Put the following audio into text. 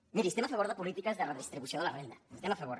miri estem a favor de polítiques de redistribució de la renda hi estem a favor